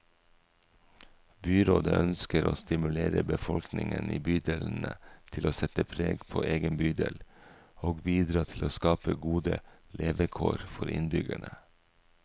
Byrådet ønsker å stimulere befolkningen i bydelene til å sette preg på egen bydel, og bidra til å skape gode levekår for innbyggerne.